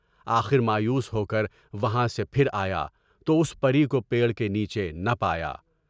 آخر مایوس ہو کر وہاں سے پھر آیا تو اس پری کو پیڑ کے نیچے نہ پایا۔